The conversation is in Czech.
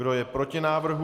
Kdo je proti návrhu?